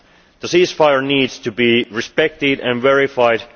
trust. The ceasefire needs to be respected and verified.